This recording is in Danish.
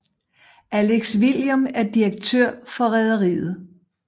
Alex Vilhelm er direktør for rederiet